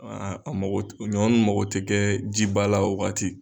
a mago ɲɔn nun mago tɛ kɛ jiba la o waati.